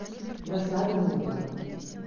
досадно ну ладно